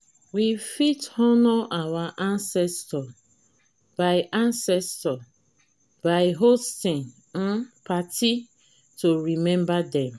we fit honour our ancestor by ancestor by hosting um party to take remember them